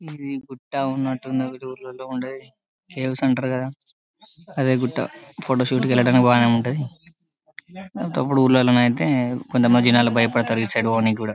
ఇది గుట్ట ఉన్నటు ఉంది ఒకటి ఊర్లళ్లో ఉండేది కేవ్స్ అంటరు కదా అదే గుట్ట ఫోటోషూట్ ఏలడానికి బానేఉంటది ఊర్లలో ఐతే కొంతమంది బయపడుతారు ఇటు సైడ్ పొనికి కూడా.